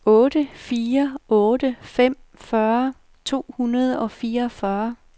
otte fire otte fem fyrre to hundrede og fireogfyrre